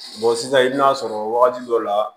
sisan i bɛn'a sɔrɔ wagati dɔ la